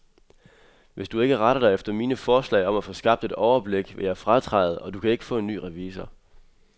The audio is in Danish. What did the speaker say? Hvis du ikke retter dig efter mine forslag om at få skabt et overblik, vil jeg fratræde, og du kan ikke få en ny revisor.